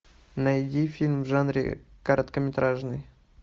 найди фильм в жанре короткометражный